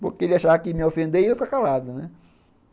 Porque ele achava que me ofender e eu ficava calado, né.